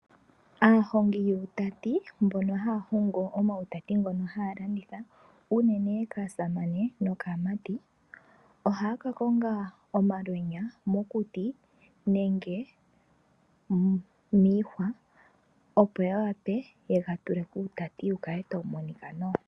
Aahongi yuutati mbono haya hobgo omawutati ngono haya landitha unene kaasamane nokaamati. Ohaa ka konga omalwenya mokuti nenge miihwa. Opo ya wape yega tule kuutati wu kale tawu monika nawa.